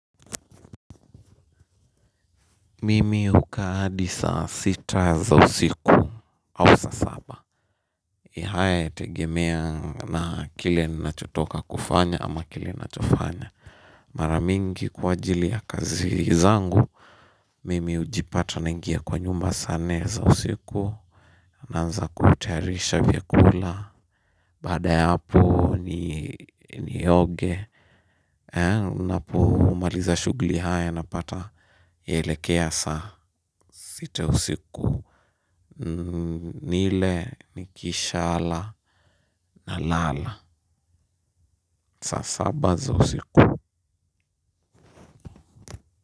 Mimi hukaa adi saa sita za usiku au saa saba na haya inategemea na kile ninachotoka kufanya ama kile ninachofanya mara mingi kwa ajili ya kazi zangu mimi ujipata naingia kwa nyumba saa nne za usiku naanza kutayarisha vyakula baada ya hapo nioge napo maliza shughuli haya na pata elea saa sita usiku. Nile, nikisha ala, nalala saa saba za usiku.